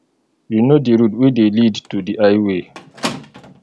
you know di route wey dey lead to di highway